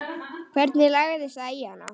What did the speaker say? Hvernig lagðist það í hana?